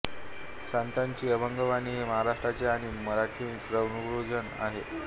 सन्ताची अभंगवाणी हे महाराष्ट्राचे आणि मराठीचे परमभूषण आहे